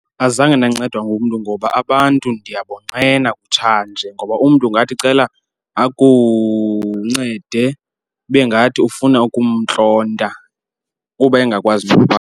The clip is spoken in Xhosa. Azange ndancedwa ngumntu ngoba abantu ndiyabona kutshanje ngoba umntu ungathi cela akuncede ibe ngathi ufuna ukumntlonta uba engakwazi .